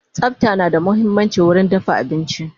Tsafta na da muhimmanci wurin dafa abinci